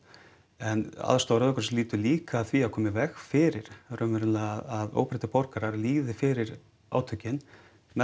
en aðstoð Rauða krossins lýtur líka að því að koma í veg fyrir raunverulega að óbreyttir borgarar líði fyrir átökin með